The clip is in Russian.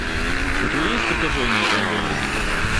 у тебя есть притяжение энга ли